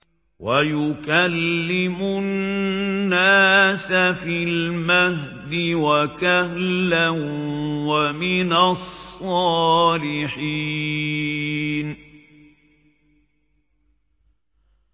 وَيُكَلِّمُ النَّاسَ فِي الْمَهْدِ وَكَهْلًا وَمِنَ الصَّالِحِينَ